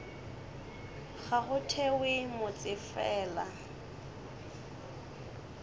ga go thewe motse fela